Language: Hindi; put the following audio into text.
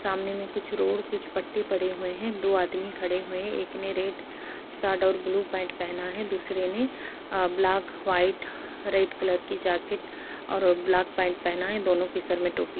सामने में कुछ रोड कुछ पट्टे पड़े हुए है दो आदमी खड़े हुए हैं एक ने रेड शर्ट और ब्लू पैंट पहना है दूसरे ने ब्लैक व्हाइट रेड कलर की जैकेट और ब्लैक पेंट पहना है दोनों के सर में टोपी --